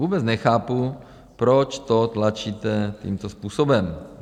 Vůbec nechápu, proč to tlačíte tímto způsobem.